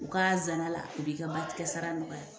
U ka zana la o b'i ka batigɛ sara nɔgɔya